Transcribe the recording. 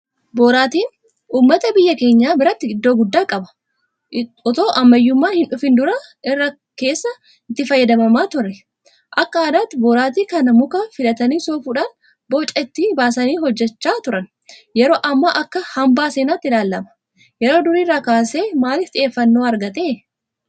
Boraatiin uummata biyya keenyaa biratti iddoo guddaa qaba. Itoo ammayyummaan hindhufin dura irraa kaasee itti fayyadamamaa ture. Akka aadaatti Boraatii kana muka filatanii soofuudhaan boca itti baasanii hojjechaa turan. Yeroo ammaa akka hanbaa seenaatti ilaalama. Yeroo durii irraa kaasee maaliif xiyyeeffannoo argate?